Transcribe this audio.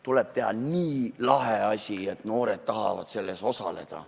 Tuleb teha nii lahe asi, et noored tahavad selles osaleda.